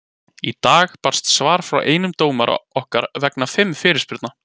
Í dag barst svar frá einum dómara okkar vegna fimm fyrirspurna.